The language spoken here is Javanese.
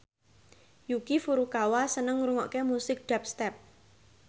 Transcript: Yuki Furukawa seneng ngrungokne musik dubstep